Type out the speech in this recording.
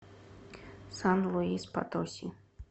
сан луис потоси